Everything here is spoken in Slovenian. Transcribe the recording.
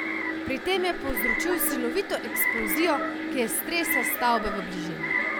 Pri tem je povzročil silovito eksplozijo, ki je stresla stavbe v bližini.